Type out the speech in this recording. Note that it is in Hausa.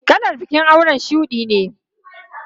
Kalar bikin aure shudi ne.